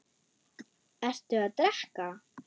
Ertu að drekka?